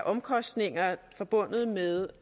omkostninger forbundet med